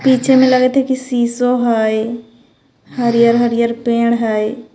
पीछे मे लगत ह की शिशो हय हरियर-हरियर पेड़ हय।